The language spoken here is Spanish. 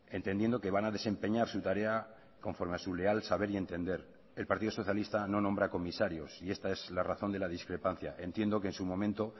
entendiendo que van a desempeñar su tarea conforme a su leal saber y entender el partido socialista no nombra comisarios y esta es la razón de la discrepancia entiendo que en su momento